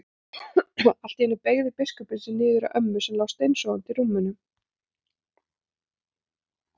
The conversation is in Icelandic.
Allt í einu beygði biskupinn sig niður að ömmu sem lá steinsofandi í rúminu.